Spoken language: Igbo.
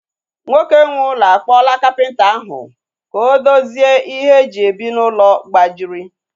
Nwoke nwe ụlọ a kpọla kapịnta ahu ka o dozie ihe e ji ebi n'ụlọ gbajiri